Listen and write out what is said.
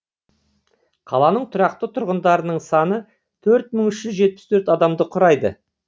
қаланың тұрақты тұрғындарының саны төрт мың үш жүз жетпіс төрт адамды құрайды